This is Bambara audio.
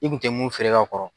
I kun tɛ mun feere ka kɔrɔ.